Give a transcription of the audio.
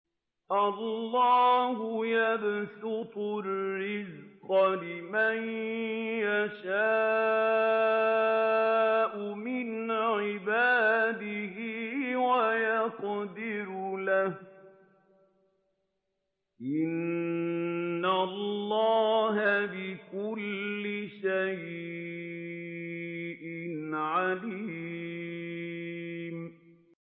اللَّهُ يَبْسُطُ الرِّزْقَ لِمَن يَشَاءُ مِنْ عِبَادِهِ وَيَقْدِرُ لَهُ ۚ إِنَّ اللَّهَ بِكُلِّ شَيْءٍ عَلِيمٌ